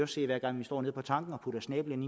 se hver gang vi står nede på tanken og putter snablen